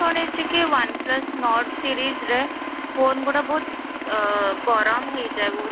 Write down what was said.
ଜାଣିଛି କି one plus note series ରେ phone ଗୁଡା ବହୁତ ଆଃ ଗରମ ହେଇ ଯାଏ ବହୁତ